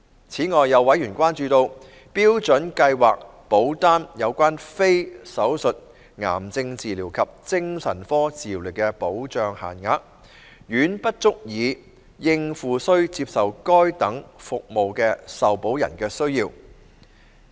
此外，有委員關注到，標準計劃保單有關非手術癌症治療及精神科治療的保障限額，遠不足以應付須接受該等服務的受保人的需要。